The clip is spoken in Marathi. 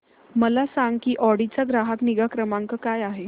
मला सांग की ऑडी चा ग्राहक निगा क्रमांक काय आहे